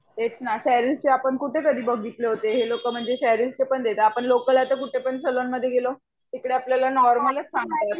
तेच ना शेरिल्स चे आपण कुठे कधी बाघितले होते पण हे लोक शेरील चे पण देतात आपण लोकल कुठे सलून मध्ये गेलो कि ती लोक नॅारमलच आपल्याला देतात.